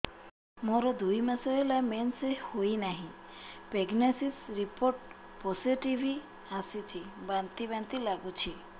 ମୋର ଦୁଇ ମାସ ହେଲା ମେନ୍ସେସ ହୋଇନାହିଁ ପ୍ରେଗନେନସି ରିପୋର୍ଟ ପୋସିଟିଭ ଆସିଛି ବାନ୍ତି ବାନ୍ତି ଲଗୁଛି